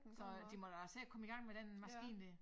Så de må da se at komme i gang med den maskine dér